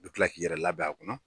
I bɛ kila k'i yɛrɛ labɛn a kɔnɔ.